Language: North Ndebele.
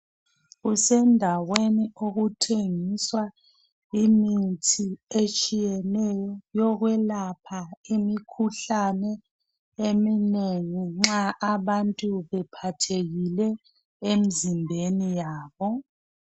Kusendaweni okuthengiswa imithi etshiyeneyo yokwelapha imikhuhlane eminengi nxa abantu bephathekile emzimbeni yabo.